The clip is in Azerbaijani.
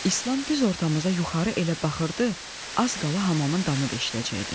İslam düz ortanıza yuxarı elə baxırdı, az qala hamamın damı deşləcəkdi.